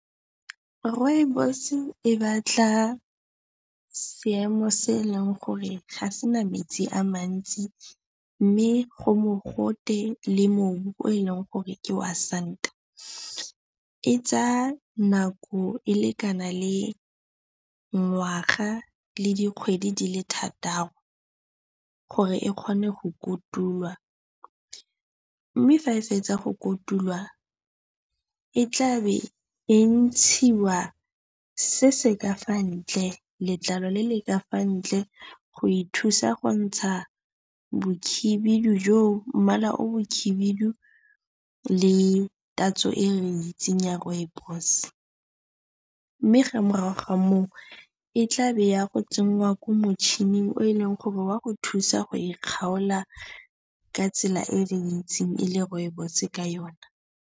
Rooibos e batla seemo se eleng gore ga se na metsi a mantsi mme go mogote le mmu o e leng gore ke wa santa. E tsaya nako e lekana le ngwaga le dikgwedi di le thataro gore e kgone go kotulwa mme fa e fetsa go kotulwa e tla be e ntshiwa se se ka fa ntle, letlalo le le ka fa ntle go e thusa go ntsha bokhibidu joo, mmala o bokhibidu le tatso e re e itseng ya rooibos. Mme fa morago ga moo e tla be e ya go tsenngwa ko motšhining o e leng gore o ya go e thusa go e kgaola ka tsela e re itseng e le rooibos ka yona.